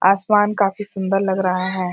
आसमान काफी सुंदर लग रहा है।